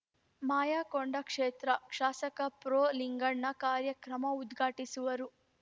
ಮಾಯಕೊಂಡ ಕ್ಷೇತ್ರ ಶಾಸಕ ಪ್ರೊಲಿಂಗಣ್ಣ ಕಾರ್ಯಕ್ರಮ ಉದ್ಘಾಟಿಸುವರು